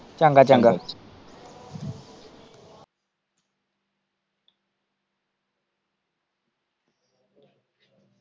ਚੰਗਾ-ਚੰਗਾ।